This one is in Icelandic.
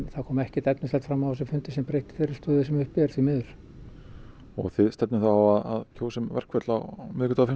það kom ekkert fram á þessum fundi sem breytti þeirri stöðu sem uppi er því miður og þið stefnið þá á að kjósa um verkföll á miðvikudaginn